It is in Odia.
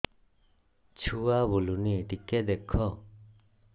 ଛୁଆ ବୁଲୁନି ଟିକେ ଦେଖ